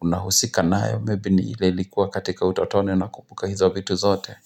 unahusika nayo ni ile ilikuwa katika utotoni unakumbuka hizo vitu zote.